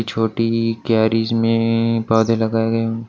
छोटी कैरीज में अ पौधे लगाए गए--